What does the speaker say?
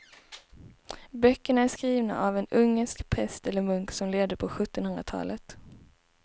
Böckerna är skrivna av en ungersk präst eller munk som levde på sjuttonhundratalet.